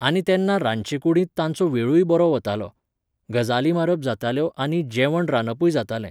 आनी तेन्ना रांदचे कुडींत तांचो वेळूय बरो वतालो. गजाली मारप जाताल्यो आनी जेवण रांदपूय जातालें